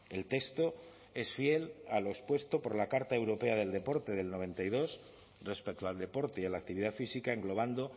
el texto es fiel a lo expuesto por la carta europea del deporte del noventa y dos respecto al deporte y a la actividad física englobando